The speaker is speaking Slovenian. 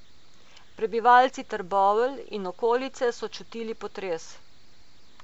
Prebivalci Trbovelj in okolice so čutili potres.